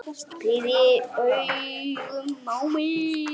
Pírði augun á mig.